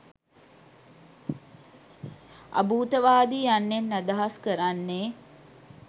අභූතවාදී යන්නෙන් අදහස් කරන්නේ